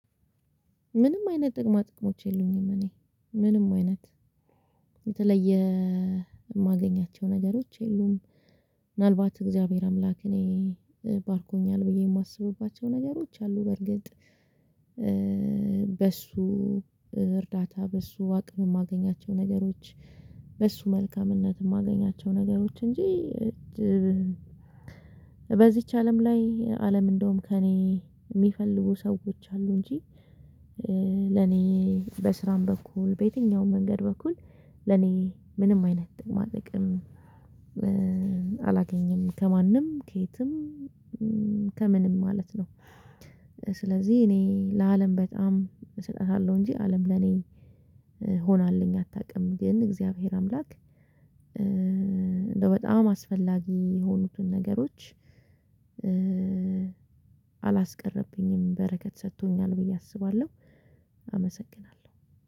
ምንም አይነት ጥቅማ ጥቅሞች የሉኝም እኔ ምንም አይነት። የተለየ የማገኛቸው ነገሮች የሉም ምናልባት እግዚአብሔር አምላክ እኔ ባርኩኛል ብዬ የማስብባቸው ነገሮች አሉ በእርግጥ በእሱ እርዳታ በእሱ አቅም የማገኛቸው ነገሮች በሱ መልካምነት የማገኛቸው ነገሮች እንጂ በዚች አለም ላይ አለም እንደውም ከእኔ የሚፈልጉ ስዎች አሉ እንጂ በስራም በኩል በየትኛውም መንገድ በኩል ለኔ ምንም አይነት ጥቅማ ጥቅም አላገኘም ከማንም ከየትም ከምንም ማለት ነው። ስለዚህ እኔ ለአለም በጣም እሰጣታለሁ እንጂ አለም ለኔ ሆናልኝ አታውቅም ግን እግዚአብሔር አምላክ እንደው በጣም አስፈላጊ የሆኑትን ነገሮች አላስቀረብኝም በረከት ሰጥቶኛል ብዬ አስባለሁ።